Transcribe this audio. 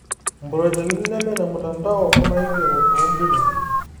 Improjekti neme ne mtandao, onaigero toombuku.